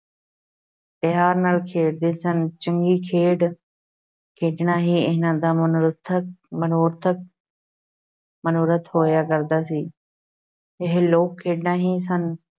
ਪਿਆਰ ਨਾਲ ਖੇਡਦੇ ਸਨ, ਚੰਗੀ ਖੇਡ ਖੇਡਣਾ ਹੀ ਇਹਨਾਂ ਦਾ ਮਨੋਰਥ ਮਨੋਰਥ ਮਨੋਰਥ ਹੋਇਆ ਕਰਦਾ ਸੀ ਇਹ ਲੋਕ-ਖੇਡਾਂ ਹੀ ਸਨ